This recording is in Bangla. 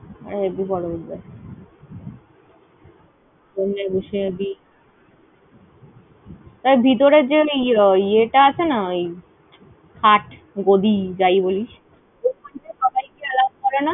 আরে হেব্বী । দেখ ভিতরের যে ওই ওই ইয়ে টা আছে না। ওই খাট গদি, যাই বলিস ।